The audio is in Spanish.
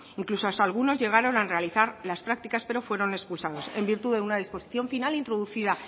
incluso algunos llegaron a realizar las prácticas pero fueron expulsados en virtud de una disposición final introducida